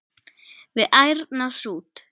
við ærna sút.